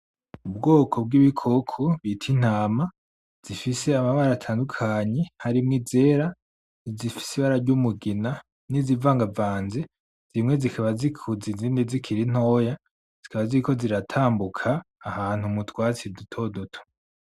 Ubwoko bw'ibikoko bit'intama, zifise amabara atandukanye harimwo izera; izifise ibara ry'umugina; n'izivangavanze, zimwe zikaba zikuze izindi zikiri ntoya, zikaba ziriko ziratambuka ahantu mu twatsi duto duto.